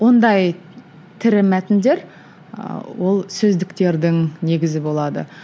ондай тірі мәтіндер ыыы ол сөздіктердің негізі болады